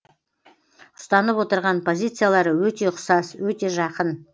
ұстанып отырған позициялары өте ұқсас өте жақын